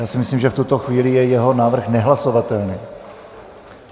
Já si myslím, že v tuto chvíli je jeho návrh nehlasovatelný.